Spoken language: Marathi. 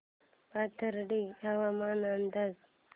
पाथर्डी हवामान अंदाज